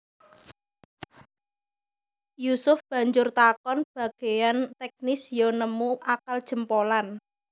Yusuf banjur takon bagéyan teknis ya nemu akal jempolan